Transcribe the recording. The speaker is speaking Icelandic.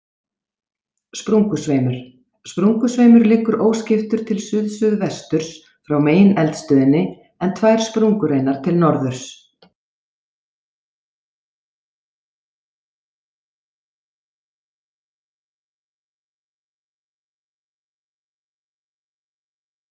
Sprungusveimur Sprungusveimur liggur óskiptur til suðsuðvesturs frá megineldstöðinni, en tvær sprungureinar til norðurs.